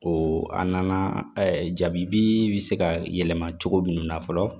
O a nana jabi bi se ka yɛlɛma cogo munnu na fɔlɔ